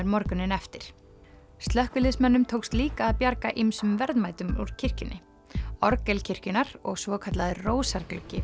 morguninn eftir slökkviliðsmönnum tókst líka að bjarga ýmsum verðmætum úr kirkjunni orgel kirkjunnar og svokallaður